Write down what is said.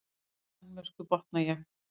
Í Danmörku, botna ég.